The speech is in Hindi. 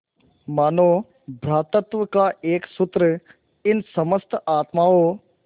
मानों भ्रातृत्व का एक सूत्र इन समस्त आत्माओं